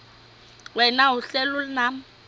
wena uhlel unam